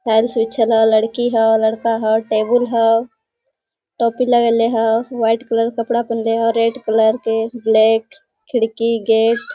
लड़की हो लड़का हो टेबुल हो टोपी लगाईले हो व्हाइट कलर कपड़ा पहिंले हो रेड कलर के ब्लैक खिड़की गेट --